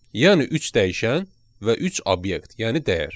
Yəni üç dəyişən və üç obyekt, yəni dəyər.